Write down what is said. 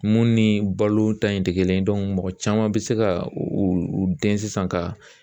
Mun ni balo ta in tɛ kelen ye mɔgɔ caman bɛ se ka u u den sisan ka